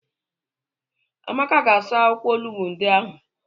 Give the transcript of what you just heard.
Amaka ga-asa akwụkwọ olugbo ndị ahụ.